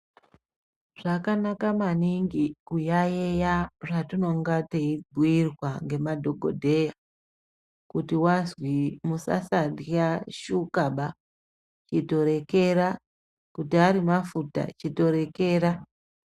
Zvakanaka maningi kuyaeya zvatinenge teibhiirwa ngemadhokoteya ,kuti wazwi musasarya shukaba ,chitorekera ,kuti ari mafuta chitorekera.